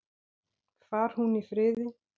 Far hún í friði.